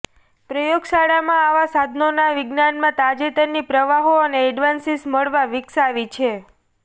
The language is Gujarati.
પ્રયોગશાળામાં આવાં સાધનોનાં વિજ્ઞાન માં તાજેતરની પ્રવાહો અને એડવાન્સિસ મળવા વિકસાવી છે